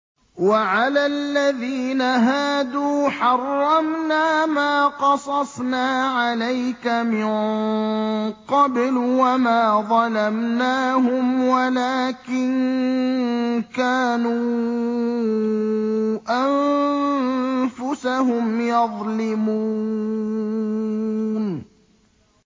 وَعَلَى الَّذِينَ هَادُوا حَرَّمْنَا مَا قَصَصْنَا عَلَيْكَ مِن قَبْلُ ۖ وَمَا ظَلَمْنَاهُمْ وَلَٰكِن كَانُوا أَنفُسَهُمْ يَظْلِمُونَ